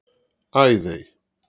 Æðey